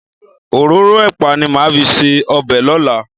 Òróró ẹ̀pà ni màá fi ṣe ọbẹ̀ lọ́la.